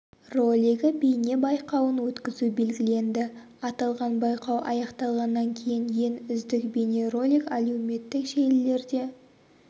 ролигі бейне байқауын өткізу белгіленді аталған байқау аяқталғаннан кейін ең үздік бейне ролик әлеуметтік желілерде